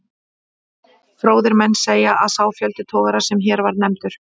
Fróðir menn segja, að sá fjöldi togara, sem hér var nefndur